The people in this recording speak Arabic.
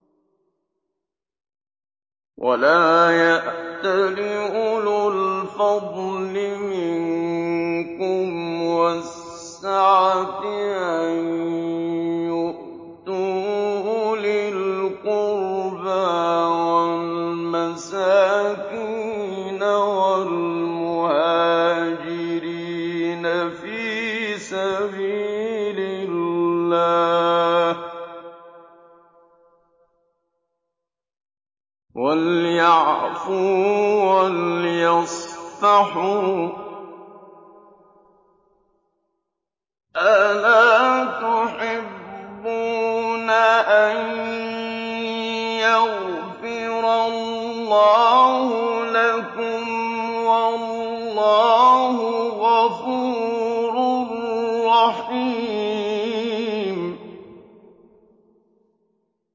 وَلَا يَأْتَلِ أُولُو الْفَضْلِ مِنكُمْ وَالسَّعَةِ أَن يُؤْتُوا أُولِي الْقُرْبَىٰ وَالْمَسَاكِينَ وَالْمُهَاجِرِينَ فِي سَبِيلِ اللَّهِ ۖ وَلْيَعْفُوا وَلْيَصْفَحُوا ۗ أَلَا تُحِبُّونَ أَن يَغْفِرَ اللَّهُ لَكُمْ ۗ وَاللَّهُ غَفُورٌ رَّحِيمٌ